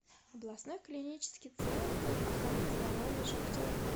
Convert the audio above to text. областной клинический центр охраны здоровья шахтеров